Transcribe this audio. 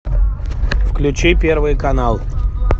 включи первый канал